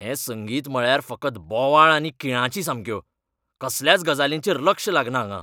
हें संगीत म्हळ्यार फकत बोवाळ आनी किळांची सामक्यो. कसल्याच गजालींचेर लक्ष लागना हांगां.